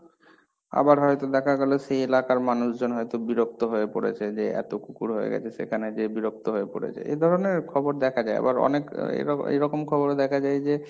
আবার হয়তো দেখা গেলো সেই এলাকার মানুষজন হয়তো বিরক্ত হয়ে পড়েছে, যে এত কুকুর হয়ে গেছে সেখানে যে বিরক্ত হয়ে পড়েছে, এই ধরনের খবর দেখা যায়ম, আবার অনেক এরকম খবরও দেখা যায় যে,